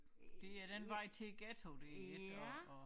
Det er den vej til æ ghetto det ikke og og